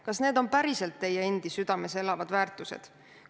Kas need on päriselt teie enda südames elavad väärtused?